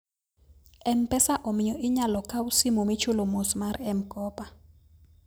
m-pesa omiyo inyalo kaw simu michulo mos mar mkopa